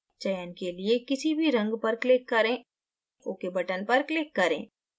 चयन के लिए किसी भी रंग पर click करें ok button पर click करें